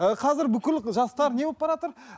ы қазір бүкіл жастар не болып баратыр